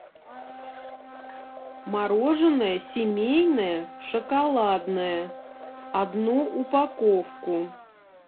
мороженое семейное шоколадное одну упаковку